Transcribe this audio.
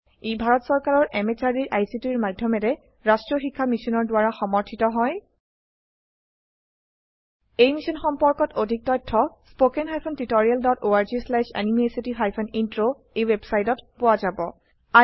ই ভাৰত চৰকাৰৰ MHRDৰ ICTৰ মাধয়মেৰে ৰাস্ত্ৰীয় শিক্ষা মিছনৰ দ্ৱাৰা সমৰ্থিত হয় এই মিশ্যন সম্পৰ্কত অধিক তথ্য spoken hyphen tutorial dot org slash এনএমইআইচিত হাইফেন ইন্ট্ৰ ৱেবচাইটত পোৱা যাব